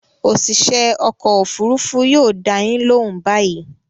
Òṣìṣẹ́ ọkọ̀-òfurufú yóò dá yín lóhùn báyìí.